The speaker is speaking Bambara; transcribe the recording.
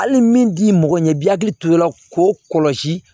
Hali min t'i mɔgɔ ɲɛ i bɛ hakili to i la k'o kɔlɔsi